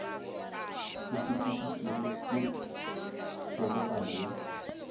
o fetišitšwego ke kgobokano ya